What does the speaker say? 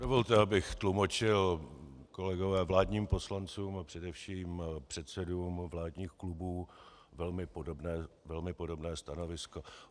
Dovolte, abych tlumočil, kolegové, vládním poslancům, a především předsedům vládních klubů velmi podobné stanovisko.